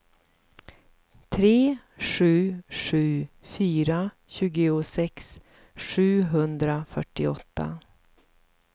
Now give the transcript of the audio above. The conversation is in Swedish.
tre sju sju fyra tjugosex sjuhundrafyrtioåtta